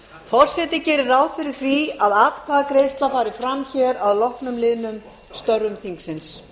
forseti gerir ráð fyrir því að atkvæðagreiðsla fari fram hér að loknum liðnum störf þingsins